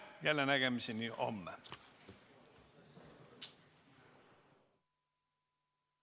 Jällenägemiseni homme!